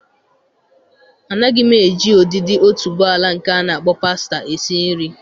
Anaghị m eji ụdịdị otuboala nke a na-akpọ pàstá esi nri.